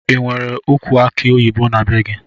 Inwere ukwu aki oyibo na bee gi?